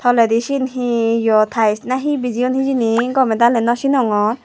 toledi sien hi yot tayes na hi hijeni gome daley nosinongor.